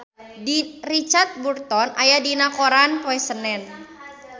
Richard Burton aya dina koran poe Senen